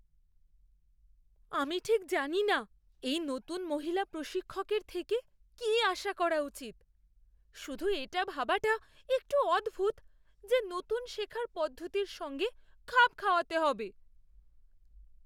আমি ঠিক জানিনা এই নতুন মহিলা প্রশিক্ষকের থেকে কী আশা করা উচিত। শুধু এটা ভাবাটা একটু অদ্ভুত যে নতুন শেখার পদ্ধতির সঙ্গে খাপ খাওয়াতে হবে!